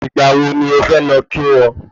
Ìgbà wo ni ọ fẹ lọ kí wọ́n?